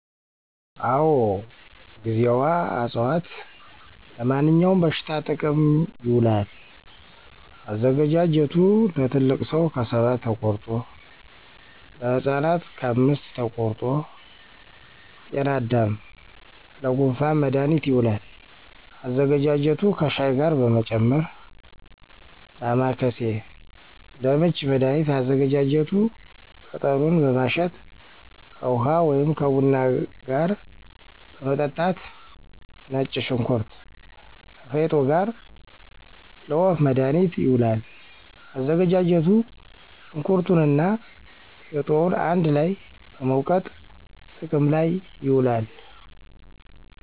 አወ ;ጊዜዋ አፅዋት-ለማንኛውም በሽታ ጥቅም ይውላል። አዘገጃጀቱ ለትልቅ ሰው ከሰባት ተቆርጦ, ለህፃናት ከአምስት ተቆርጦ -ጤናዳም :ለጉንፋን መድሀኒት ይውላል አዘገጃጀቱ ከሻይ ጋር በመጨመር -ዳማከሴ: ለምች መድሀኒት አዘገጃጀቱ ቅጠሉን በማሸት ከውሀ ወይም ከቡና ጋር መጠጣት -ነጭ ሽንኩርት ከፌጦ ጋር: ለወፍ መድሀኒት ይውላል አዘገጃጀቱ ሸንኩርቱንና ፌጦውን አንድ ላይ በመውገጥ ጥቅም ላይ ይውላል